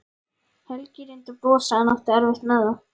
Helgi reyndi að brosa en átti erfitt með það.